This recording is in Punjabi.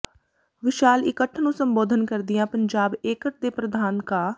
ਵਿਸ਼ਾਲ ਇਕੱਠ ਨੂੰ ਸੰਬੋਧਨ ਕਰਦਿਆਂ ਪੰਜਾਬ ਏਟਕ ਦੇ ਪ਼੍ਰਧਾਨ ਕਾ